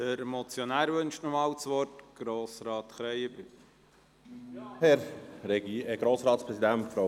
Der Motionär wünscht noch einmal das Wort, Grossrat Krähenbühl.